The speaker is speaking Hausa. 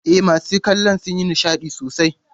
E, masu kallo sun yi nishadi sosai.